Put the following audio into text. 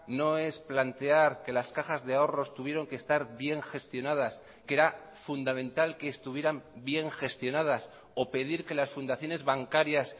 no es plantear que las cajas de ahorros tuvieron que estar bien gestionadas que era fundamental que estuvieran bien gestionadas o pedir que las fundaciones bancarias